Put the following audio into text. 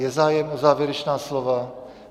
Je zájem o závěrečná slova?